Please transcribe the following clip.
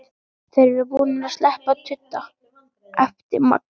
Þeir eru búnir að sleppa tudda! æpti Magga.